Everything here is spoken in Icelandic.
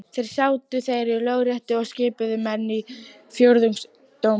Þar sátu þeir í Lögréttu og skipuðu menn í fjórðungsdóma.